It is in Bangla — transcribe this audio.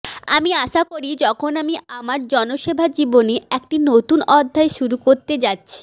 আমি আশা করি যখন আমি আমার জনসেবা জীবনে একটি নতুন অধ্যায় শুরু করতে যাচ্ছি